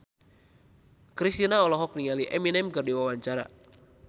Kristina olohok ningali Eminem keur diwawancara